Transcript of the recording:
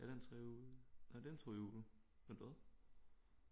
Er det en trehjulet nej det er en tohjulet vent hvad